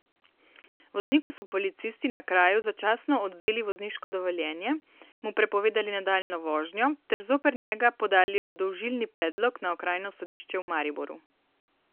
Vozniku so policisti na kraju začasno odvzeli vozniško dovoljenje, mu prepovedali nadaljnjo vožnjo ter zoper njega podali obdolžilni predlog na Okrajno sodišče v Mariboru.